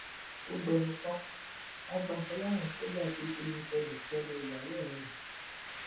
ó gbẹnu tán wọn gbaṣọ lọrùn sójà tó ṣe yunkeyúnkẹlẹ ìyàwó ọrẹ ẹ